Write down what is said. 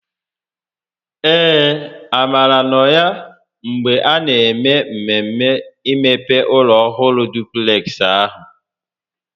Ee, Amara nọ ya mgbe a na eme mmemme imepe ụlọ ọhụrụ dupleksị ahụ